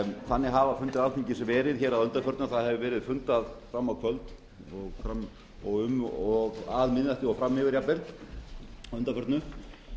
þannig hafa fundir alþingis verið að undanförnu að það hefur verið fundað fram á kvöld og um og að miðnætti og fram yfir jafnvel að undanförnu